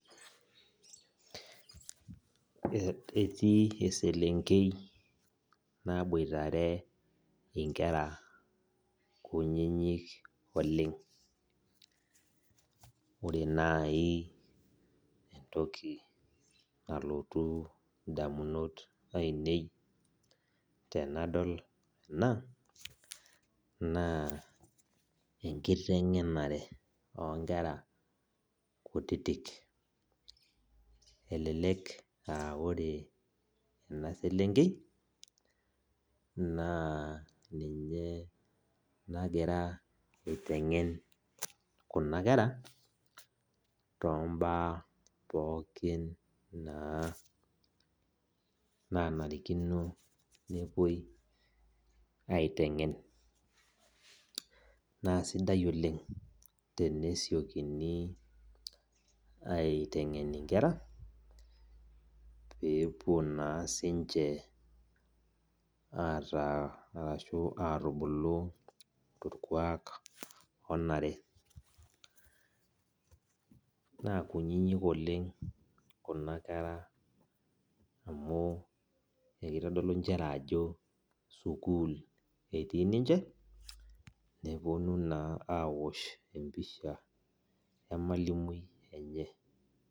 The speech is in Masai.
Etii eselenkei naboitare inkera kunyinyik oleng. Ore entoki nalotu indamunot ainei tenadol ena, naa enkiteng'enare onkera kutitik. Elelek ah ore ena selenkei, naa ninye nagira aiteng'en kuna kera, tombaa pookin naa nanarikino nepuo aiteng'en. Naa sidai oleng tenesiokini aiteng'en inkera, pepuo naa sinche ataa arashu atubulu torkuak onare. Na kunyinyik oleng kuna kera amu ekitodolu njere ajo sukuul etii ninche, neponu naa awosh empisha emalimui enye.